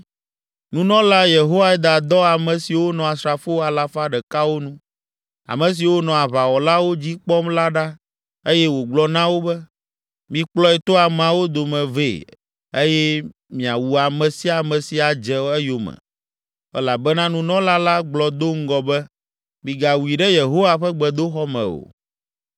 Nunɔla Yehoiada dɔ ame siwo nɔ asrafo alafa ɖekawo nu, ame siwo nɔ aʋawɔlawo dzi kpɔm la ɖa eye wògblɔ na wo be, “Mikplɔe to ameawo dome vɛ eye miawu ame sia ame si adze eyome.” Elabena nunɔla la gblɔ do ŋgɔ be, “Migawui ɖe Yehowa ƒe gbedoxɔ me o.”